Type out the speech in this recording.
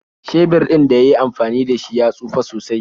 Shebir ɗin da yi yi amfani da shi ya tsufe sosai.